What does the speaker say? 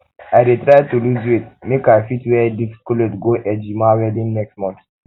i dey try lose weight make i fit make i fit wear this um cloth go ejima um wedding next month